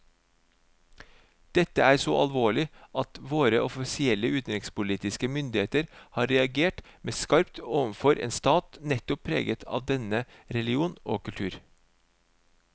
Dette er så alvorlig at våre offisielle utenrikspolitiske myndigheter har reagert meget skarpt overfor en stat nettopp preget av denne religion og kultur.